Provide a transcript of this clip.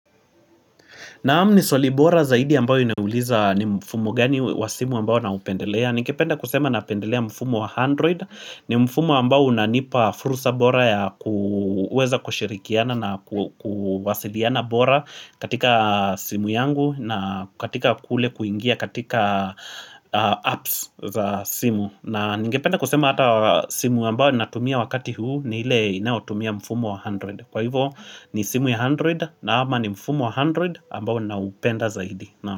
Naam ni swali bora zaidi ambayo inauliza ni mfumo gani wa simu ambao naupendelea Ningependa kusema napendelea mfumo wa android. Ni mfumo ambao unanipa fursa bora ya kuweza kushirikiana na kuwasiliana bora katika simu yangu na katika kule kuingia katika apps za simu na ningependa kusema hata simu ambayo ninatumia wakati huu ni ile inayotumia mfumo wa android kwa hivyo ni simu ya android ama ni mfumo wa android ambao ninaupenda zaidi.